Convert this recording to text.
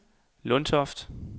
Lundtoft